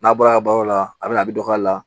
N'a bɔra baaraw la a bɛ na a bɛ dɔgɔya a la